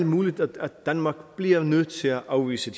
muligt at danmark bliver nødt til at afvise